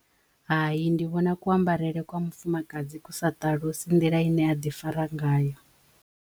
Hai ndi vhona ku ambarele kwa mufumakadzi ku sa ṱalusa nḓila ine aḓi fara ngayo.